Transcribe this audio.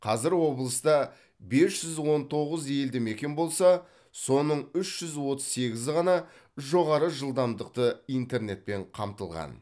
қазір облыста бес жүз он тоғыз елді мекен болса соның үш жүз отыз сегізі ғана жоғары жылдамдықты интернетпен қамтылған